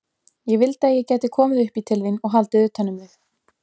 Ég vildi að ég gæti komið upp í til þín og haldið utan um þig.